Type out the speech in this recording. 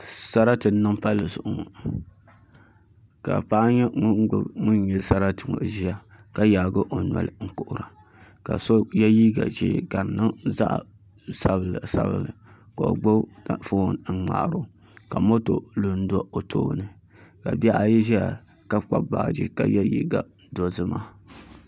Sarati n niŋ palli zuɣu ŋo ka paɣa nyɛ ŋun gbubi ŋun nyɛ sarati ŋo ʒiya ka yaagi o noli n kuhura ka so yɛ liiga ʒiɛ ka di niŋ zaɣ sabinli sabinli ka o gbubi foon n ŋmaaro ka moto lu n do o tooni ka bihi ayi ʒɛya ka kpabi baaji ka yɛ liiga dozima